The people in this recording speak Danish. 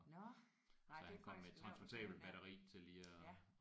Nåh nej det er faktisk lavt at køre ind der ja